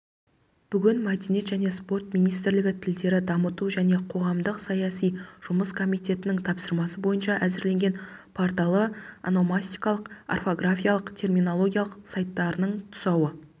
бүгін мәдениет және спорт министрлігі тілдерді дамыту және қоғамдық-саяси жұмыс комитетінің тапсырмасы бойынша әзірленген порталы ономастикалық орфографиялық терминологиялық сайттарының тұсауы